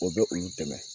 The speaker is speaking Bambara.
O bɛ olu dɛmɛ